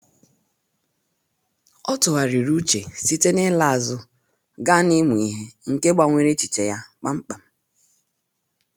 Ọ tụgharịrị uche site na ịla azụ gaa na ịmụ ihe, nke gbanwere echiche ya kpamkpam